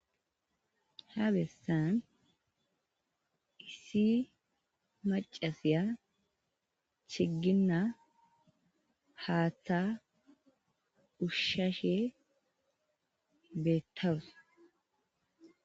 Ha bessan issi macasiya chigginna haaththa ushshashe beettawus.